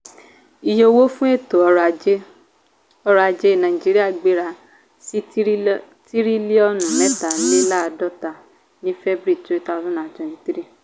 iye owó fún ètò orò-ajé nàìjíríà gbéra sí tiriliọnu mẹtale laadota ni february two thousand and twenty three